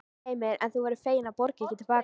Heimir: En þú verður fegin að borga ekki til baka?